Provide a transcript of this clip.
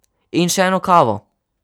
In še eno kavo.